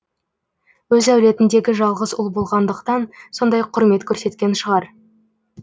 өз әулетіндегі жалғыз ұл болғандықтан сондай құрмет көрсеткен шығар